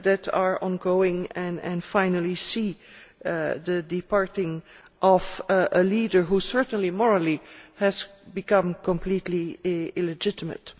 are ongoing and that we finally see the departure of a leader who certainly, morally, has become completely illegitimate.